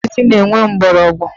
Mkpụrụ osisi na-enwe mgbọrọgwụ